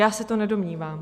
Já se to nedomnívám.